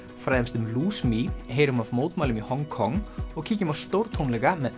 fræðumst um heyrum af mótmælum í Hong Kong og kíkjum á stórtónleika með